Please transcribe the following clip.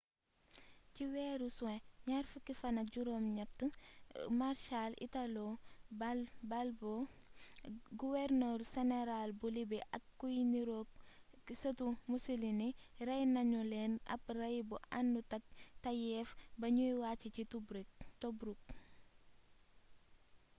ci weeru suwn 28 fann marshal italo balbo guwernor seneral bu libi ak kuy niroog sëtu mussolini rey nanu leen ab ray bu anutak tayeef ba ñuy wàcc ca tobruk